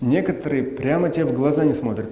некоторые прямо тебе в глаза не смотрят